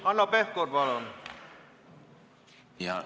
Hanno Pevkur, palun!